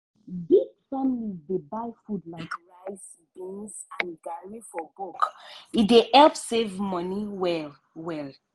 big families dey buy food like rice beans and garri for bulk—e dey help save money well-well.